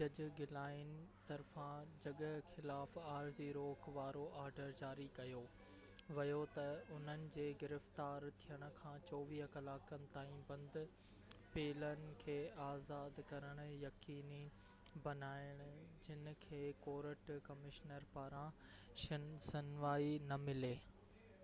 جج گلائن طرفان جڳهه خلاف عارضي روڪ وارو آرڊر جاري ڪيو ويو ته انهن جي گرفتار ٿين کان 24 ڪلاڪن تائين بند پيلن کي آزاد ڪرڻ يقيني بنائن جن کي ڪورٽ ڪمشنر پاران شنوائي نه ملي